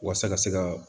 Walasa ka se ka